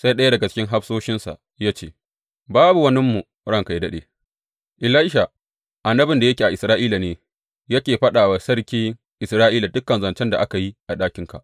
Sai ɗaya daga cikin hafsoshinsa ya ce, Babu waninmu, ranka yă daɗe; Elisha, annabin da yake a Isra’ila ne, yake faɗa wa sarkin Isra’ila dukan zancen da ka yi a ɗakinka.